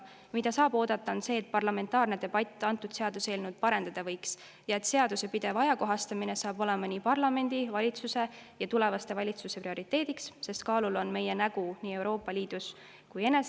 Mida saab oodata, on see, et parlamentaarne debatt võiks seaduseelnõu parendada ja et seaduse pidev ajakohastamine saab olema parlamendi, valitsuse ja tulevaste valitsuste prioriteediks, sest kaalul on meie nägu nii Euroopa Liidus kui enese ees …